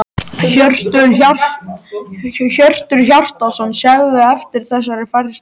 Hjörtur Hjartarson: Sérðu eftir þessari færslu?